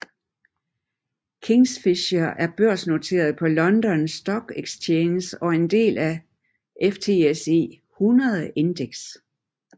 Kingfisher er børsnoteret på London Stock Exchange og en del af FTSE 100 Index